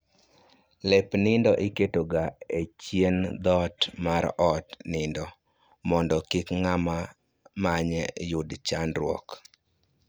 Lep nindo iketo ga e chien dhoot mar od nindo mondo kik ng'ama manye yud chandruok